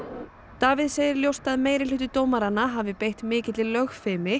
Davíð segir ljóst að dómaranna hafi beitt mikilli